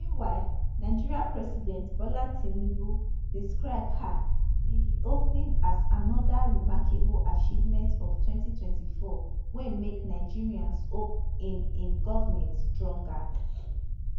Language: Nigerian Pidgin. meanwhile nigeria president bola tinubu describe um di reopening as anoda remarkable achievement of 2024 wey make nigerians hope in im goment stronger